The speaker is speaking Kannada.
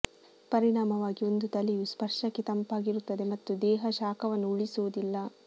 ಪರಿಣಾಮವಾಗಿ ಒಂದು ತಲೆಯು ಸ್ಪರ್ಶಕ್ಕೆ ತಂಪಾಗಿರುತ್ತದೆ ಮತ್ತು ದೇಹ ಶಾಖವನ್ನು ಉಳಿಸುವುದಿಲ್ಲ